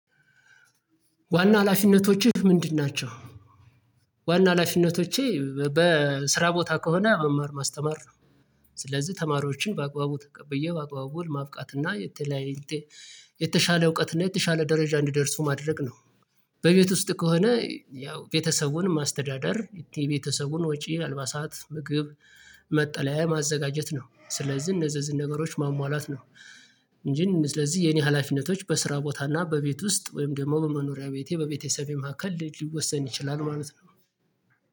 ዋና ሀላፊነቶችህ ምንድን ናቸው ዋና ሀላፊነቶቼ በስራ ቦታ ከሆነ መማር ማስተማር ነው። ስለዚህ ተማሪዎችን በአግባቡ ተቀብዬ በአግባቡ ቦል ማብቃት እና የተለያየ እውቀት እና የተሻለ ደረጃ እንዲደርሱ ማድረግ ነው። በቤት ውስጥ ከሆነ ያው ቤተሰቡን ማስተዳደር የቤተሰቡን ወጪ፣ አልባሳት፣ ምግብ፣ መጠለያ ማዘጋጀት ነው። ስለዚህ እነዚህ እነዚህ ነገሮች ማሟላት ነው። እንጂ ስለዚህ የኔ ሀላፊነቶች በስራ ቦታ እና በቤት ውስጥ ወይም ደግሞ በመኖሪያ ቤቴ በቤተሰቤ መካከል ሊወሰን ይችላል ማለት ነው።